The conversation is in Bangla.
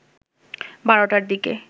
১২টার দিকে